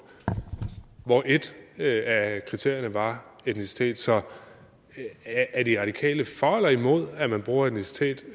hvor et af kriterierne var etnicitet så er de radikale for eller imod at man bruger etnicitet